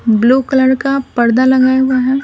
Blue colour का पर्दा लगाया हुआ है।